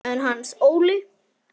En Hans Óli?